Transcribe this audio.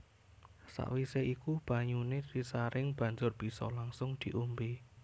Sakwise iku banyuné disaring banjur bisa langsung diombé